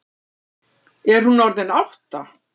Er hún orðin átta?